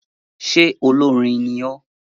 Ṣe olórin ní ọ?